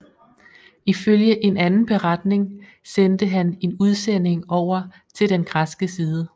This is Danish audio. Ifølge en anden beretning sendte han en udsending over til den græske side